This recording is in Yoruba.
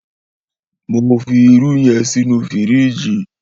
Mó fi irù yèn sinú fírìjí